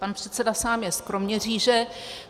Pan předseda sám je z Kroměříže.